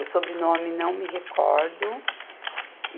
O sobrenome, não me recordo.